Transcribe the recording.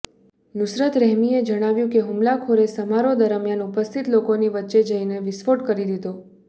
નુસરત રહીમીએ જણાવ્યું કે હુમલાખોરે સમારોહ દરમિયાન ઉપસ્થિત લોકોની વચ્ચે જઈને વિસ્ફોટ કરી દીધો